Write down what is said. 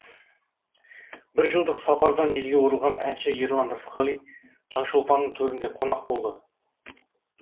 бір жылдық сапардан елге оралған әнші ерлан рысқали таңшолпанның төрінде қонақ болды